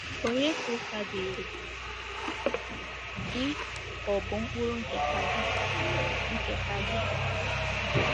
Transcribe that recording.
Ònye Ka Ụta Dịịrị — Gị Ka Ọ̀ Bụ Mkpụrụ Nketa Gị? Nketa Gị?